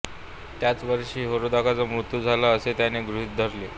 त्याच वर्षी हेरोदाचा मृत्यू झाला असे त्याने गृहीत धरले